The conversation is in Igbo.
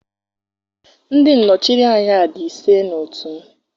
ndị nọchiri anya di ise na otu m